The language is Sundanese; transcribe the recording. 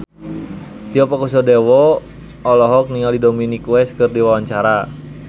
Tio Pakusadewo olohok ningali Dominic West keur diwawancara